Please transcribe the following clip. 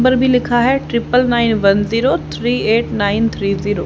Number भी लिखा है triple nine one zero three eight nine three zero.